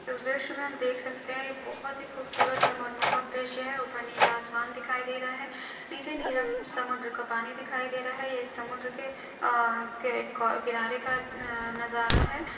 इस दॄश्य मे हम देख सकते है ये बहोत ही खूबसूरत और मनमोहक दॄश्य हेऊपर नीला आसमान दिखाई दे रहा है नीचे नीला समुन्द्र का पानी दिखाई दे रहा है ये एक समुन्द्र के के किनारे का नजारा है।